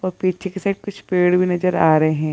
प पीछे के साइड कुछ पेड़ भी नजर आ रहे --